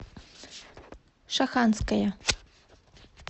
шаханская